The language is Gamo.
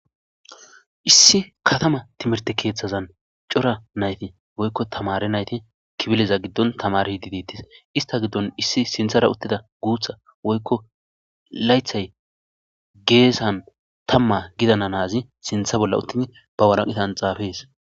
issi katama timirte keeththazan cora nayti woykko tamare nayti kibileza giddon tamari hididettis ista giddon issi sinthara uttida guutha woykko laythay geesan tamma gidananazi sintha bolla uttid ba waraqitan xaafees